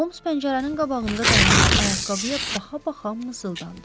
Holms pəncərənin qabağında dayanıb ayaqqabıya baxa-baxa mızıldandı.